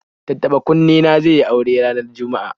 Tattaɓa-kunne na zai yi aure ranar Juma'a